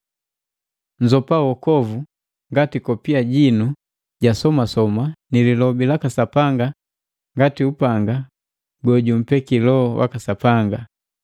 Nnzopa wokovu ngati kopia jinu ja somasoma ni Lilobi laka Sapanga ngati upanga yejumpeki Loho jaka Sapanga.